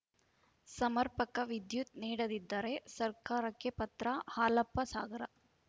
ಒಕೆಸಮರ್ಪಕ ವಿದ್ಯುತ್‌ ನೀಡದಿದ್ದರೆ ಸರ್ಕಾರಕ್ಕೆ ಪತ್ರ ಹಾಲಪ್ಪ ಸಾಗರ